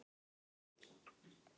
Þinn Gísli.